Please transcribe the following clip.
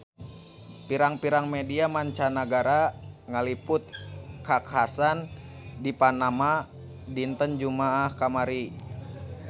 Pirang-pirang media mancanagara ngaliput kakhasan di Panama dinten Jumaah kamari